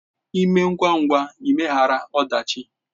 Ịme ngwa ngwa ịmeghara ọdachi!